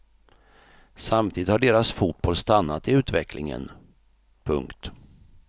Samtidigt har deras fotboll stannat i utvecklingen. punkt